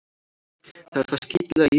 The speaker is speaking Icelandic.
Það er það skítlega í þessu.